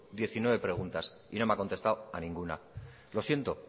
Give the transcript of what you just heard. diecinueve preguntas y no me han contestado a ninguna lo siento